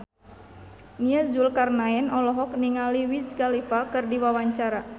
Nia Zulkarnaen olohok ningali Wiz Khalifa keur diwawancara